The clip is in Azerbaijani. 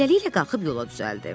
Beləliklə qalxıb yola düzəldi.